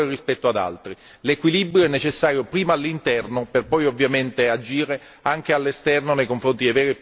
l'equilibrio è necessario prima all'interno, per poi agire anche all'esterno nei confronti dei veri e propri paradisi fiscali.